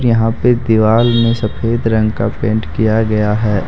यहां पे दीवाल में सफेद रंग का पेंट किया गया है।